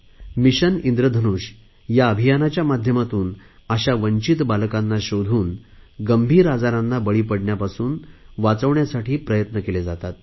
mission Indradhanush या अभियानाच्या माध्यमातून अशा वंचित बालकांना शोधून गंभीर आजारांना बळी पडण्यापासून वाचविण्यासाठी प्रयत्न केले जातात